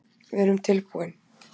Við erum tilbúin